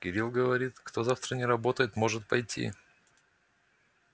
кирилл говорит кто завтра не работает может пойти